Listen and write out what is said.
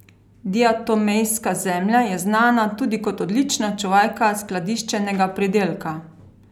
Diatomejska zemlja je znana tudi kot odlična čuvajka skladiščenega pridelka.